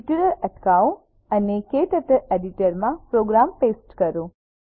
tutorial અટકાવો અને KTurtle editor માં પ્રોગ્રામ પેસ્ટ કરો